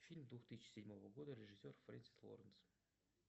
фильм двух тысяч седьмого года режиссер френсис лоуренс